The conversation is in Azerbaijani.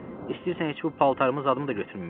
İstəyirsən heç bu paltarımı zadımı da götürməyim.